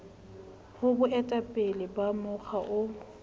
ho boetapele ba mokga o